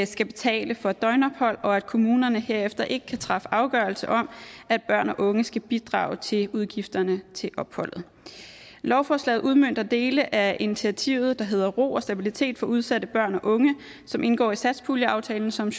skal betale for et døgnophold og at kommunerne herefter ikke kan træffe afgørelse om at børn og unge skal bidrage til udgifterne til opholdet lovforslaget udmønter dele af initiativet der hedder ro og stabilitet for udsatte børn og unge som indgår i satspuljeaftalen som